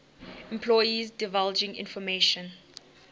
employees divulging information